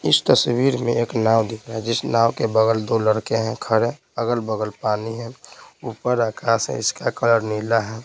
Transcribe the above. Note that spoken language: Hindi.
इस तस्वीर में एक नाव दिखा है जिस नाव के बगल दो लड़के हैं खड़े अगल-बगल पानी है ऊपर आकाश है इसका कलर नीला है ।